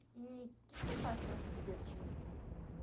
E que que você faz para se divertir em em